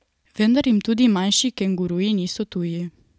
Vendar jim tudi manjši kenguruji niso tuji.